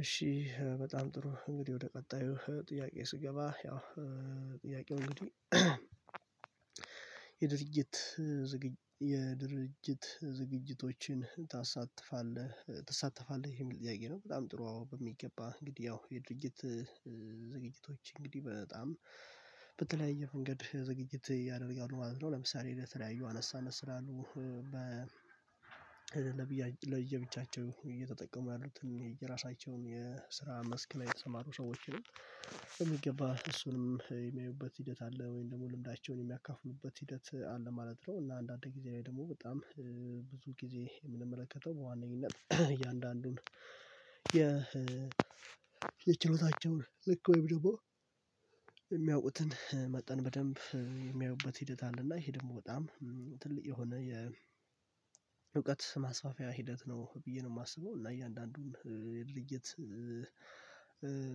እሺ በጣም ጥሩ እንግዲህ ወደ ቀጣዩ ጥያቄ ስገባ ያው ጥያቄው እንግዲህ የድርጅት የድርጅት ዝግጅቶችን ታሳትፋለህ ትሳተፋለህ የሚል ጥያቄ ነው? በጣም ጥሩ አዎ በሚገባ እንግዲህ ያው የድርጊት ዝግጅቶች እንግዲህ በጣም በተለያየ መንገድ ዝግጅት ያደርጋሉ ማለት ነው። ለምሳሌ ለተለያዩ አነስ አነስ ላሉ በ ለየብቻቸው እየተጠቀሙ ያሉትን የራሳቸውን የስራ መስክ ላይ የተሰማሩ ሰዎች ነው በሚገባ እሱንም የሚያዩበት ሂደት አለ ወይም ደግሞ ልምዳቸውን የሚያካፍሉበት ሂደት አለ ማለት ነው። እና አንዳንድ ጊዜ ላይ ደግሞ በጣም ብዙ ጊዜ የምንመለከተው በዋነኝነት እያንዳንዱን የ የችሎታቸውን ልክ ወይም ደግሞ የሚያውቁትን መጠን በደንብ የሚያዩበት ሂደት አለና ይሄ ደግሞ በጣም ትልቅ የሆነ የእውቀት ማስፋፊያ ሂደት ነው ብዬ ነው የማስበው። እና እያንዳንዱን ልይት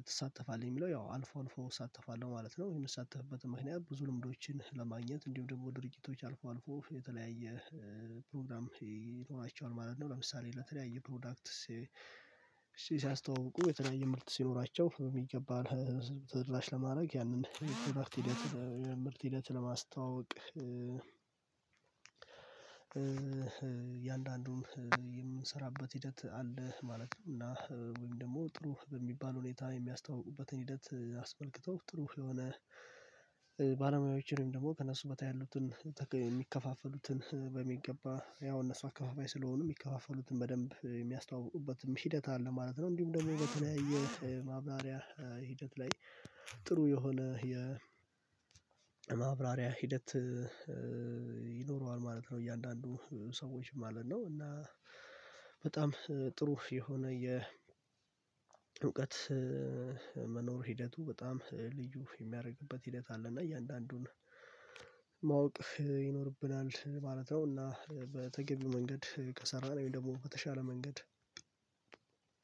ትሳተፋለህ የሚለው ያው አልፎ አልፎ እሳተፋለሁ ማለት ነው። የምሳተፍበትም ምክንያት ብዙ ልምዶችን ለማግኘት እንዲሁም ደግሞ ድርጊቶች አልፎ አልፎ የተለያየ ፕሮግራም ይኖራቸዋል ማለት ነው። ለምሳሌ ለተለያየ ፕሮዳክት ሲያስተዋውቁ የተለያየ ምርት ሲኖራቸው በሚገባ ተደራሽ ለማድረግ ያንን የስርአት ሂደት ምርት ሂደት ለማስተዋወቅ። የአንዳንዱን የምንሰራበት ሂደት አለ ማለት ነው። እና ወይም ደግሞ ጥሩ በሚባል ሁኔታ የሚያስተውቁበትን ሂደት አስመልክቶ ጥሩ የሆነ ባለሙያዎችንም ደግሞ ከእነሱ በታይ ያሉትን የሚከፋፈሉትን በሚገባ ያው እነሱ አከፋፋይ ስለሆኑ የሚከፋፈሉትን በደንብ የሚያስተዋውቁበትም ሂደት አለ ማለት ነው። እንዲሁም ደግሞ በተለያየ ማብራሪያ ሂደት ላይ ጥሩ የሆነ የማብራሪያ ሂደት ይኖረዋል ማለት ነው። እያንዳንዱ ሰዎች ማለት ነው እና በጣም ጥሩ የሆነ የ እውቀት መኖር ሂደቱ በጣም ልዩ የሚያረግበት ሂደት አለ። እና እያንዳንዱን ማወቅ ይኖርብናል ማለት ነው። እና በተገቢው መንገድ ከሰራን ወይም ደግሞ በተሻለ መንገድ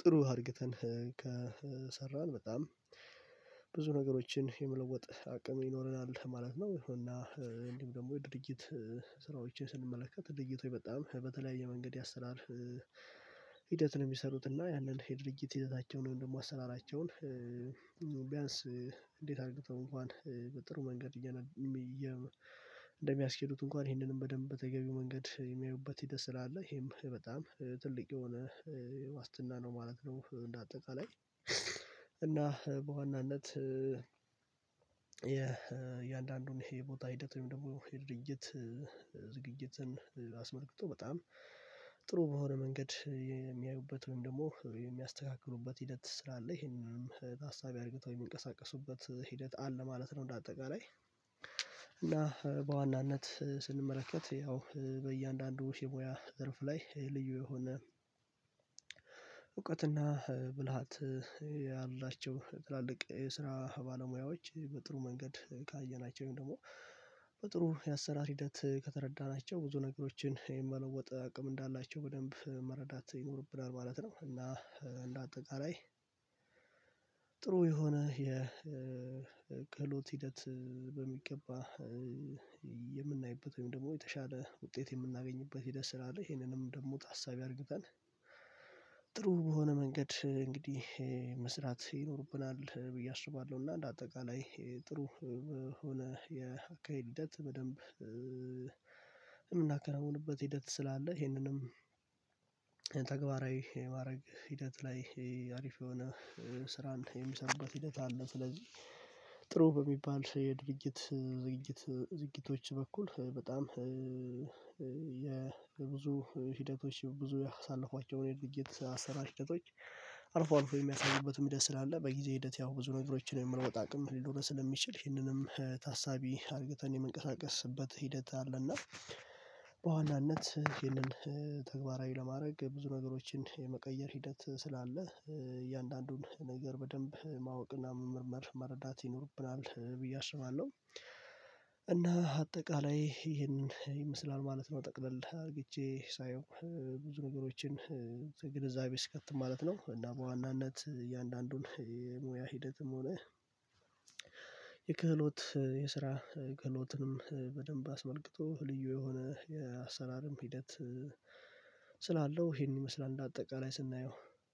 ጥሩ አድርግተን ከሰራን በጣም ብዙ ነገሮችን የመለወጥ አቅም ይኖረናል ማለት ነው። እና እንዲሁም ደግሞ የድርጊት ስራዎችን ስንመለከት ድርጊቶች በጣም በተለያየ መንገድ ያሰራር ሂደት ነው የሚሰሩት እና ያንን ድርጅት ሂደታቸውን ወይም ደግሞ አሰራራቸውን ቢያንስ እንዴት አርግተው እንኳን በጥሩ መንገድ እንደሚያስኬዱት እንኳን ይህንንም በደንብ በተገቢው መንገድ የሚያዩበት ሂደት ስላለ ይሄም በጣም ትልቅ የሆነ ዋስትና ነው ማለት ነው። እንደ አጠቃላይ እና በዋናነት የእያንዳንዱን የቦታ ሂደት ወይም ደግሞ የድርጅት ዝግጅትን አስመልክቶ በጣም ጥሩ በሆነ መንገድ የሚያዩበት ወይም ደግሞ የሚያስተካክሉበት ሂደት ስላለ ይሄንንም ታሳቢ አርግተው የሚንቀሳቀሱበት ሂደት አለ ማለት ነው። እንደ አጠቃላይ እና በዋናነት ስንመለከት ያው በእያንዳንዱ የሙያ ዘርፍ ላይ ልዩ የሆነ እውቀትና ብልሃት ያላቸው ትላልቅ የስራ ባለሙያዎች በጥሩ መንገድ ካየናቸው ወይም ደግሞ በጥሩ የአሰራር ሂደት ከተረዳናቸው ብዙ ነገሮችን የመለወጥ አቅም እንዳላቸው በደንብ መረዳት ይኖርብናል ማለት ነው። እና እንደ አጠቃላይ ጥሩ የሆነ የክህሎት ሂደት በሚገባ የምናይበት ወይም ደግሞ የተሻለ ውጤት የምናገኝበት ሁደት ስላለ ይሄንንም ደግሞ ታሳቢ አርግተን ጥሩ በሆነ መንገድ እንግዲህ መስራት ይኖርብናል ብዬ አስባለሁ። እና እንደ አጠቃላይ ጥሩ ሆነ የአካሄድ ሂደት በደንብ የምናከናውንበት ሂደት ስላለ ይሄንንም ተግባራዊ የማድረግ ሂደት ላይ አሪፍ የሆነ ስራ እንደምሰራበት ሂደት አለ። ስለዚህ ጥሩ በሚባል የድርጅት ዝግጅት ዝግጅቶች በኩል በጣም የብዙ ሂደቶች ብዙ ያሳለፏቸውን የድርጅት አሰራር ሂደቶች አልፎ አልፎ የሚያሳዩበትም ሂደት ስላለ በጊዜ ሂደት ያው ብዙ ነገሮችን የመለወጥ አቅም ሊኖረን ስለሚችል ይህንንም ታሳቢ አርግተን የምንንቀሳቀስበት ሂደት አለና በዋናነት ይህንን ተግባራዊ ለማድረግ ብዙ ነገሮችን የመቀየር ሂደት ስላለ እያንዳንዱን ነገር በደንብ ማወቅና መመርመር መረዳት ይኖርብናል ብዬ አስባለሁ። እና አጠቃላይ ይሄንን ይመስላል ማለት ነው። ጠቅለል አርግቼ ሳየው ብዙ ነገሮችን ከግንዛቤ ስከት ማለት ነው። እና በዋናነት እያንዳንዱን የሙያ ሂደትም ሆነ የክህሎት የስራ ክህሎትንም በደንብ አስመልክቶ ልዩ የሆነ የአሰራርም ሂደት ስላለው ይሄንን ይመስላል እንደ አጠቃላይ ስናየው።